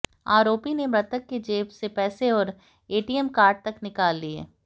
आरोपी ने मृतक के जेब से पैसे और एटीएम कार्ड तक निकाल लिए